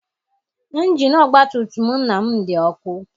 Injini ọgbatumtum nna m dị ọkụ.